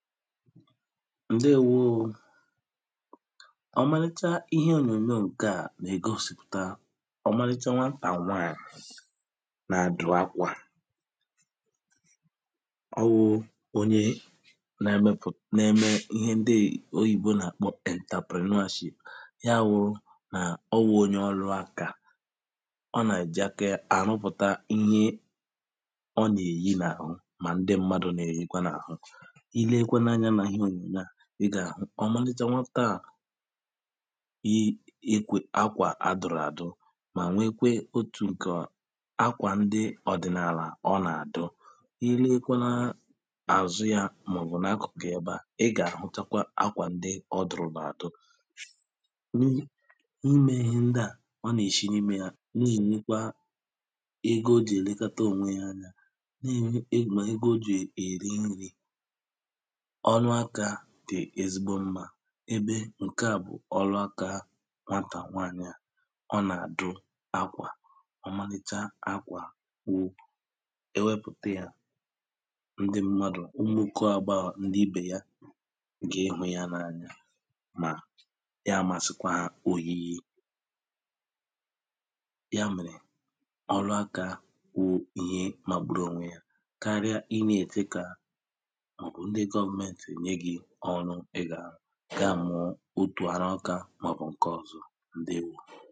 ǹdeēwōō ọmalịcha ihe ònyònyò ǹke na-ègosìpụ̀ta ọmalịcha nwatà nwanyị̀ na-adụra akwà ọwụ̄ onye na-eme ihe ndi oyìbo nà-àkpọ entrepreneurship ya wụ̄ nà ọ wụ̄ onye ọlụ-akā ọ nà-èji aka yā àrụpụ̀ta ihe ọ nà-èyi nà-àhụ mà ndi mmadụ̀ nà-èyikwa nà-àhụ ilekwe anyā mà ihe ònyònyò a ị gà-àhụ ọmalịcha nwatà yii ekwē akwà adụ̀ràdụ mà nwekwe otù ǹkè ọ́ akwà ndi ọ̀dị̀nàlà ọ nà-àdụ ilekwa àzụ yā màọ̀bụ̀ n’akụ̀kụ̀ ẹbe à ị gà-àhụchtakwa akwà ndi ọ dụ̀rù là àdụ nihi imē ihe ndi à ọ nà-èshi n’imē yá nenyekwa ego o jì èlekata ònwe yā anya nà-ènwe mà ego o jì èri nrī ọlụ akā dì ezigbo mmā ebe ǹke a bụ̀ ọlụ akā há nwatà nwanyì à ọ nà-àdụ akwà ọmalịcha akwà wu ewepùte yā ndi mmadụ̀ ụmụ̀ nkọàba ndi ibè ya gi hụ yā n’anya mà ya màsị̀kwà òyiyi ya mèrè ọlụ akā wụ ihe mà ọ̀bụrụ̄ ònwe yā karịa i nà-èje kà ọ̀bụ̀ ndi government ènye gī ọrụ ịgà àrụ ga-amụ̀ọ otù arụ akā màọ̀bụ̀ ǹkè ọzọ̄ ǹdewō